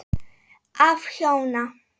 Af hjóna